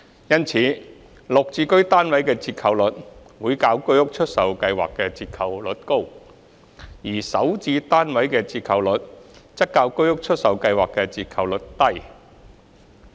因此，綠置居單位的折扣率會較居屋出售計劃的折扣率高，而首置單位的折扣率則較居屋出售計劃的折扣率低。